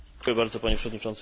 Panie Przewodniczący!